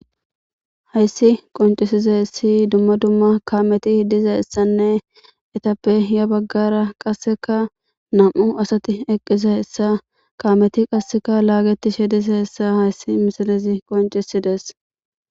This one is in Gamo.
Hayssi qoncisiza hessi dumma dumma kaameti hidiza hessanne etappe iya baggara qasseka nam'u asati eqqisa hessa kaameti qasseka laagetishe disa hessa hayssi misalezi qoncisidees.